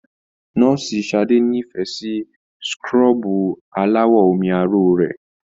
Nọ́ọ̀sì Sadé n'ifẹ sí súkúrọbuù alawọ omi aro rẹ.